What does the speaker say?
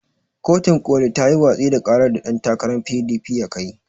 Kotun ƙoli tayi watsi da ƙarar da ɗan takaran PDP ya kai.